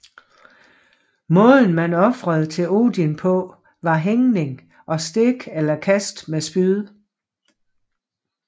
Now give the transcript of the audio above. Måden man ofrede til Odin på var hængning og stik eller kast med spyd